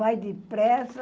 Vai depressa,